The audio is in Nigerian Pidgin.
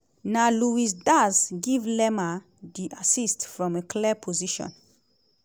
na luis dã­az give lerma di assist from a clear position.